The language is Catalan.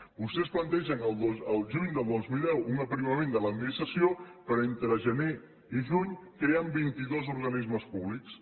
vostès plantegen el juny del dos mil deu un aprimament de l’administració però entre gener i juny creen vit i dos organismes públics